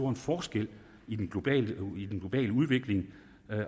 en forskel i den globale udvikling